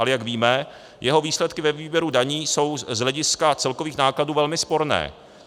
Ale jak víme, jeho výsledky ve výběru daní jsou z hlediska celkových nákladů velmi sporné.